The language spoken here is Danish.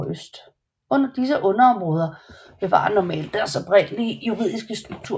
Disse underområder bevarer normalt deres oprindelige juridiske struktur